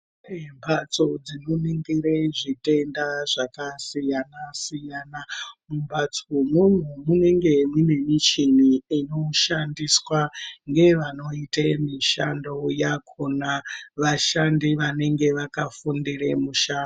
Mbatso dzinoningire zvitenda zvakasiyana-siyana. Mumbatso umwomwo munenge mune michini inoshandiswa ngevanoite mishando yakona. Vashandi vanenge vakafundire musha...